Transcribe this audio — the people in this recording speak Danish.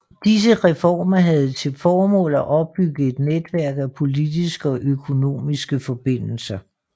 Disse reformer havde til formål at opbygge et netværk af politiske og økonomiske forbindelser